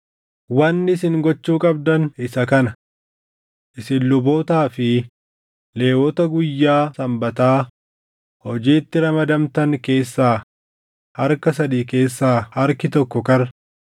Wanni isin gochuu qabdan isa kana: Isin lubootaa fi Lewwota guyyaa Sanbataa hojiitti ramadamtan keessaa harka sadii keessaa harki tokko karra,